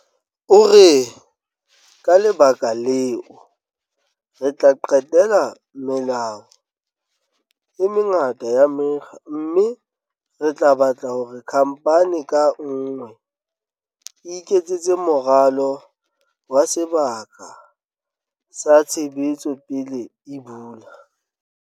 O re, "Ka lebaka leo, re tla qetela melao e mengata ya mekga mme re tla batla hore khamphani ka nngwe e iketsetse moralo wa sebaka sa tshebetso pele e bula."